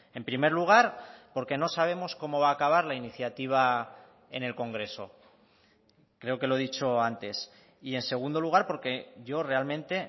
en primer lugar porque no sabemos cómo va a acabar la iniciativa en el congreso creo que lo he dicho antes y en segundo lugar porque yo realmente